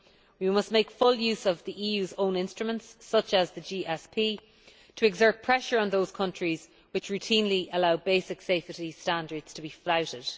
We must make full use of the EU's own instruments, such as the GSP, to exert pressure on those countries which routinely allow basic safety standards to be flouted.